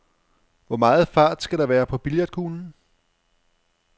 Hvor meget fart skal der være på billiardkuglen?